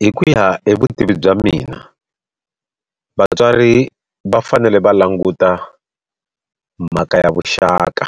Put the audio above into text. Hi ku ya hi vutivi bya mina vatswari va fanele va languta mhaka ya vuxaka